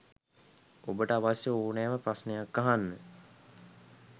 ඔබට අවශ්‍ය ඕනෑම ප්‍රශ්නයක් අහන්න